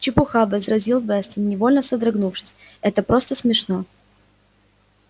чепуха возразил вестон невольно содрогнувшись это просто смешно